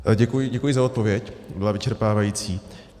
Děkuji za odpověď, byla vyčerpávající.